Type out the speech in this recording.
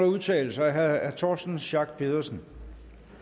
udtale sig herre torsten schack pedersen